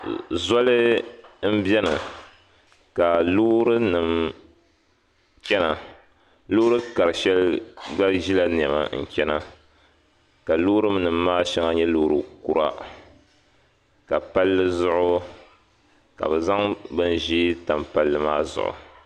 Zɔli m-beni, ka loorinim chana. Loori kar shɛli gba ʒi la niɛma n-chana ka loorinim maa shɛŋa nyɛ loori kura. Ka panlli zuɣu, ka bi zaŋ bin' ʒee tam panlli maa zuɣu.